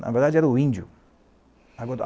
Na verdade, era o índio.